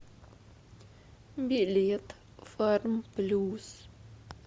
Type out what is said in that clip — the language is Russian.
билет фармплюс